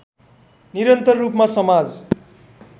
निरन्तर रूपमा समाज